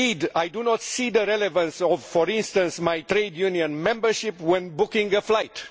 I do not see the relevance of, for instance, my trade union membership when booking a flight.